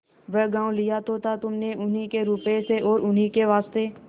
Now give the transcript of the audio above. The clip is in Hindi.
वह गॉँव लिया तो था तुमने उन्हीं के रुपये से और उन्हीं के वास्ते